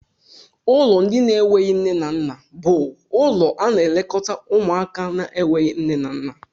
Ụlọ ndị na enweghị nne na nna bú ụlọ ana elekota ụmụaka na enweghị nne na nna.